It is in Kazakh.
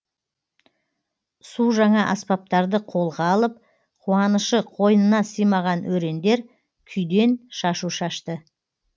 су жаңа аспаптарды қолға алып қуанышы қойнына сыймаған өрендер күйден шашу шашты